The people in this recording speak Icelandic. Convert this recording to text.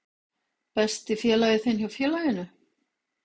Besti félagi þinn hjá félaginu?